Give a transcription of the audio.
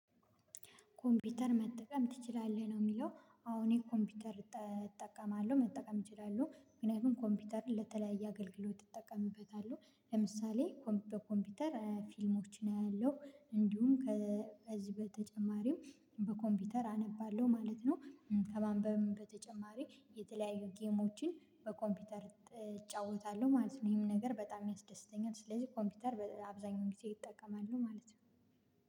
ኮምፒውተር መጠቀም ትችላለህ ነው? የሚለው አዎ እኔ ኮምፒውተር እጠቀማለሁ መጠቀም እችላለሁ ምክንያቱም ኮምፒውተርን ለተለያየ አገልግሎት እጠቀምበታለሁ። ለምሳሌ ኮምፒውተር ፊልሞችን አያለው እንዲሁም ከዚህ በተጨማሪም በኮምፒውተር አነባለሁ ማለት ነው። ከማንበብም በተጨማሪ የተለያዩ ጌሞችን በኮምፒውተር እጫወታለሁ ማለት ነው። ይሄም ነገር በጣም ያስደስተኛል ስለዚህ ኮምፒውተር አብዛኛው ጊዜ እጠቀማለሁ ማለት ነው።